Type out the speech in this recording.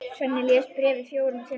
Svenni les bréfið fjórum sinnum.